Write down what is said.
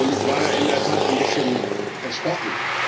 Ich war in der Tat ein bisschen erschrocken.